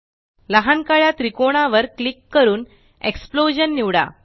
लहान काळ्या त्रिकोणावर क्लिक करून एक्सप्लोजन निवडा